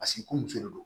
Paseke ko muso de don